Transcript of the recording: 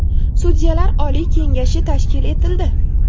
Sudyalar oliy kengashi tashkil etildi.